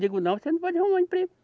Digo, não, você não pode arrumar emprego.